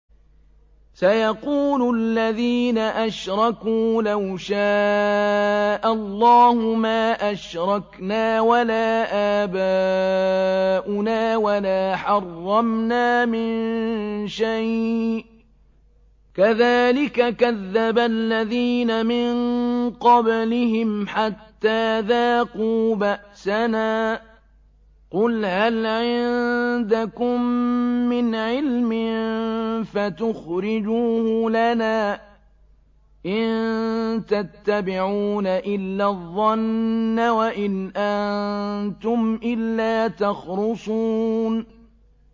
سَيَقُولُ الَّذِينَ أَشْرَكُوا لَوْ شَاءَ اللَّهُ مَا أَشْرَكْنَا وَلَا آبَاؤُنَا وَلَا حَرَّمْنَا مِن شَيْءٍ ۚ كَذَٰلِكَ كَذَّبَ الَّذِينَ مِن قَبْلِهِمْ حَتَّىٰ ذَاقُوا بَأْسَنَا ۗ قُلْ هَلْ عِندَكُم مِّنْ عِلْمٍ فَتُخْرِجُوهُ لَنَا ۖ إِن تَتَّبِعُونَ إِلَّا الظَّنَّ وَإِنْ أَنتُمْ إِلَّا تَخْرُصُونَ